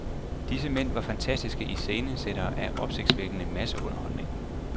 Disse mænd var fantastiske iscenesættere af opsigtsvækkende masseunderholdning.